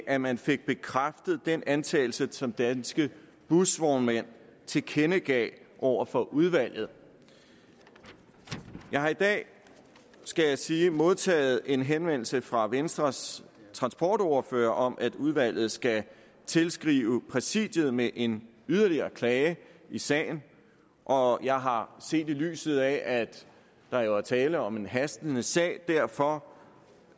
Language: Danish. at man fik bekræftet den antagelse som danske busvognmænd tilkendegav over for udvalget jeg har i dag skal jeg sige modtaget en henvendelse fra venstres transportordfører om at udvalget skal tilskrive præsidiet med en yderligere klage i sagen og jeg har set i lyset af at der jo er tale om en hastende sag derfor